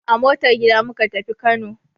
A motar gida muka tafi Kano.